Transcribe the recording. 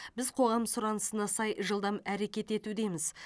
біз қоғам сұранысына сай жылдам әрекет етудеміз